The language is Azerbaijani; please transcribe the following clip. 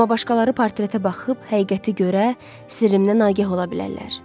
Amma başqaları portretə baxıb həqiqəti görə, sirrimdən nagəh ola bilərlər.